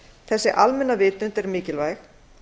þessi almenna vitund er mikilvæg